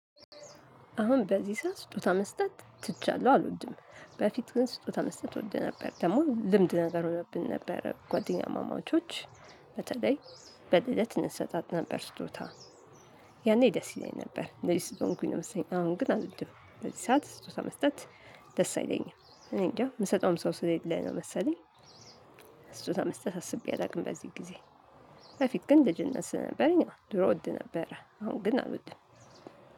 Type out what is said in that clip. አሁን በዚህ ሰዓት ስጦታ መስጠት ትቻለሁ አልወድም። በፊት ግን ስጦታ መስጠት እወደ ነበር ደግሞ ልምድ ነገር ሆኖብን ነበር ጓደኛማማቾች በተለይ በልደት እንሰጣጥ ነበር ስጦታ ያኔ ደስ ይለኝ ነበር። እንደዚህ ስለሆንኩኝ ነው መሰለኝ አሁን ግን አልወድም። በዚህ ሰዓት ስጦታ መስጠት ደስ አይለኝም እኔ እንጃ ምሰጠውም ሰው ስለሌለ ነው መሰለኝ ስጦታ መስጠት አስቤ አላውቅም። በዚህ ጊዜ በፊት ግን ልጅነት ስለነበረኝ ድሮ እወድ ነበረ አሁን ግን አልወድም።